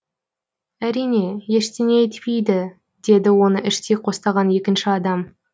әрине ештеңе етпейді деді оны іштей қостаған екінші адам